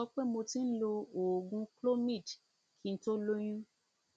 mo tún fẹ sọ pé mo ti ń lo oògùn clomid kí n tó lóyún